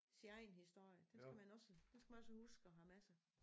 Sin egen historie den skal man også den skal man også huske at have med sig